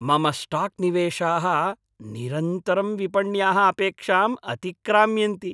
मम स्टाक् निवेशाः निरन्तरं विपण्याः अपेक्षाम् अतिक्राम्यन्ति।